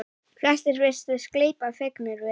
Flestir virtust gleypa fegnir við.